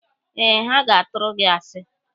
Eh, ha ga-atụrụ gị asi.